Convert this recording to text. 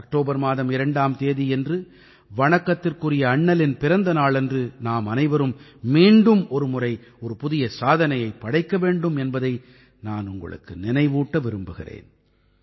October மாதம் 2ஆம் தேதியன்று வணக்கத்துக்குரிய அண்ணலின் பிறந்த நாளன்று நாம் அனைவரும் மீண்டும் ஒரு முறை ஒரு புதிய சாதனையைப் படைக்க வேண்டும் என்பதை நான் உங்களுக்கு நினைவூட்ட விரும்புகிறேன்